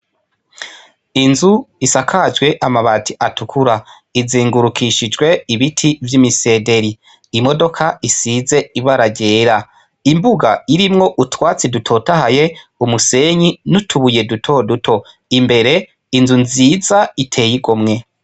Inzu isakajwe amabati atukura izungurukijwe ibiti vy' imisederi imodoka isize ibara ryera imbuga irimwo utwatsi dutotahaye umusenyi n' utubuye duto duto imbere inzu nziza iteye igomwe.